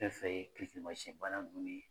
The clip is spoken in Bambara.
Fɛn fɛn ye kirikirimasiyɛn bana nunnu ye